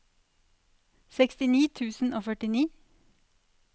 sekstini tusen og førtini